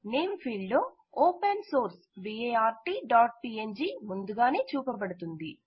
పేరు క్షేత్రంలో open source bartpng ముందుగానే చూపబడుతోంది